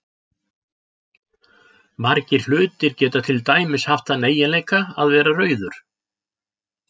Margir hlutir geta til dæmis haft þann eiginleika að vera rauður.